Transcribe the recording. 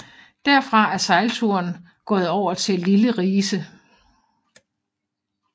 Derfra er sejlturen gået over til Lille Rise